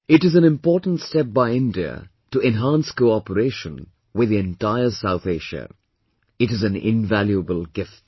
It is an important step by India to enhance cooperation with the entire South Asia... it is an invaluable gift